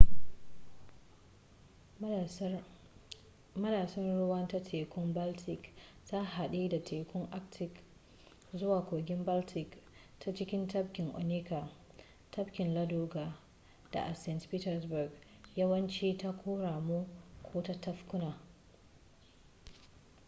madatsar ruwa ta tekun baltic ta haɗe da tekun arctic zuwa kogin baltic ta cikin tabkin onega tabkin ladoga da a saint petersburg yawanci ta ƙoramu ko tafkuna